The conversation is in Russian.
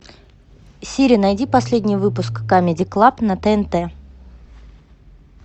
сири найди последний выпуск камеди клаб на тнт